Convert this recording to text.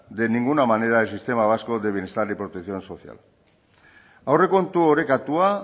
de ninguna manera el sistema vasco de bienestar y protección social aurrekontu orekatua